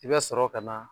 I bɛ sɔrɔ ka na